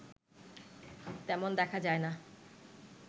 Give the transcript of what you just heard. তেমন দেখা যায় না